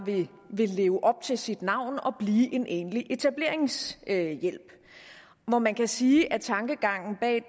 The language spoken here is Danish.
vil leve op til sit navn og blive en egentlig etableringshjælp hvor man kan sige at tankegangen bag